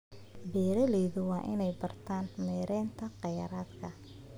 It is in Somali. Beeraleydu waa inay bartaan maareynta kheyraadka.